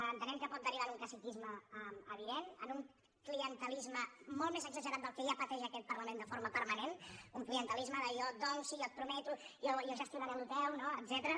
entenem que pot derivar en un caciquisme evident en un clientelisme molt més exagerat del que ja pateix aquest parlament de forma permanent un clientelisme de jo et dono sí jo et prometo jo gestionaré això teu no etcètera